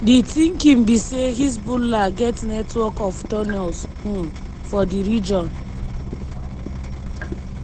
di thinking be say hezbollah get network of tunnels um for di region.